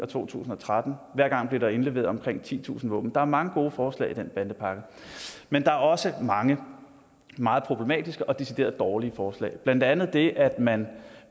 to tusind og tretten og hver gang blev der indleveret omkring titusind våben der er mange gode forslag i den bandepakke men der er også mange meget problematiske og deciderede dårlige forslag blandt andet det at man